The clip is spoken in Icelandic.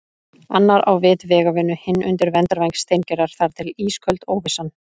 Annar á vit vegavinnu, hinn undir verndarvæng Steingerðar- þar til ísköld óvissan.